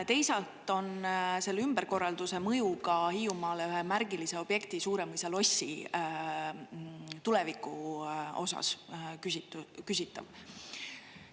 Teisalt on selle ümberkorralduse mõju ka Hiiumaale ühe märgilise objekti, Suuremõisa lossi tuleviku osas küsitav.